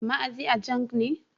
Maazi Ajang ne.